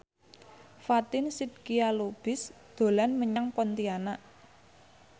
Fatin Shidqia Lubis dolan menyang Pontianak